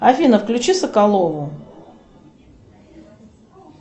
афина включи соколову